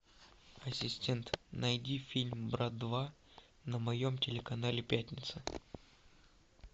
ассистент найди фильм брат два на моем телеканале пятница